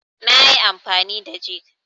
nayi amfani da jig